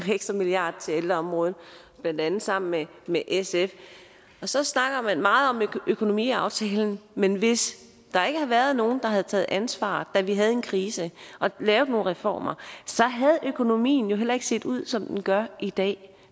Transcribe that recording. ekstra milliard til ældreområdet blandt andet sammen med med sf og så snakker man meget om økonomiaftalen men hvis der ikke havde været nogle der havde taget ansvar da vi havde en krise og lavet nogle reformer så havde økonomien jo heller ikke set ud som den gør i dag